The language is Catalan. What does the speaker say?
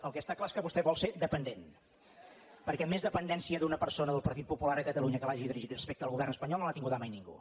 el que està clar és que vostè vol ser dependent perquè més dependència d’una persona del partit popular a catalunya que l’hagi dirigit respecte al govern espanyol no l’ha tinguda mai ningú